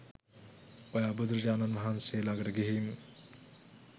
ඔයා බුදුරජාණන් වහන්සේ ලඟට ගිහින්